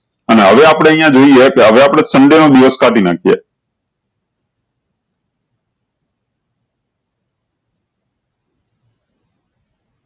અને હવે આપળે અયીયા જોયીયે કેહવે આપળે sunday ના દિવસ કાઢી નાખીએ